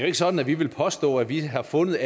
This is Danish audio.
ikke sådan at vi vil påstå at vi har fundet